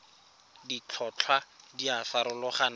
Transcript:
ditlhotlhwa di a farologana go